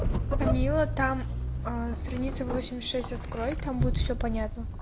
камилла там страница восемьдесят шесть открой там будет всё понятно